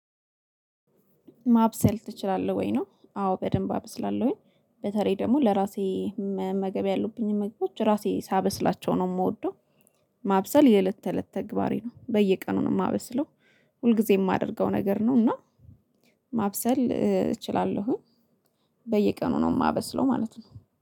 ማብሰል ትችላለህ ወይ? ነው አዎ በደንብ አበስላለሁኝ በተለይ ደግሞ ለራሴ መመገብ ያሉብኝን ምግቦች ራሴ ሳበስላቸው ነው የምወደው። ማብሰል የእለት ተእለት ተግባሬ ነው በየቀኑ ነው የማበስለው። ሁልጊዜ የማደርገው ነገር ነው እና ማብሰል እችላለሁኝ። በየቀኑ ነው የማበስለው ማለት ነው።